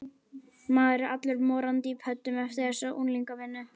Maður er allur morandi í pöddum eftir þessa unglingavinnu.